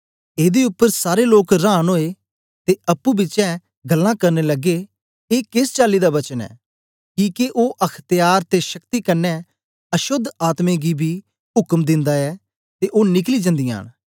एदे उपर सारे लोक रांन ओए ते अप्पुं पिछें गल्लां करन लगे ए केस चाली दा वचन ऐ किके ओ अख्त्यार ते शक्ति कन्ने अशोद्ध आत्में गी बी उक्म दिंदा ऐ ते ओ निकली जन्दीयां न